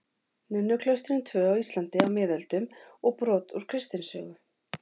Nunnuklaustrin tvö á Íslandi á miðöldum og brot úr kristnisögu.